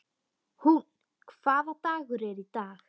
Húnn, hvaða dagur er í dag?